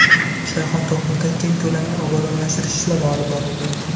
Shayxontohurda keng ko‘lamli obodonlashtirish ishlari olib borildi.